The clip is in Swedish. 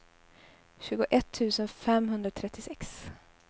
tjugoett tusen femhundratrettiosex